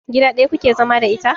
Gida ɗaya kuke zama da ita?